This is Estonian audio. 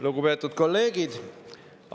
Lugupeetud kolleegid!